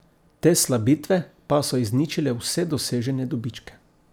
Te slabitve pa so izničile vse dosežene dobičke.